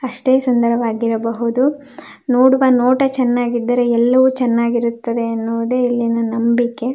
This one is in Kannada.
ಅಷ್ಟೆ ಸುಂದರವಾಗಿರಬಹುದು ನೋಡುವ ನೋಟ ಚನ್ನಾಗಿದ್ದರೆ ಎಲ್ಲವು ಚನ್ನಾಗಿರುತ್ತದೆ ಎನ್ನುವುದೆ ಇಲ್ಲಿನ ನಂಬಿಕೆ.